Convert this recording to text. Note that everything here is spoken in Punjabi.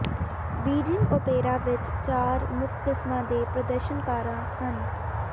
ਬੀਜਿੰਗ ਓਪੇਰਾ ਵਿਚ ਚਾਰ ਮੁੱਖ ਕਿਸਮਾਂ ਦੇ ਪ੍ਰਦਰਸ਼ਨਕਾਰਾ ਹਨ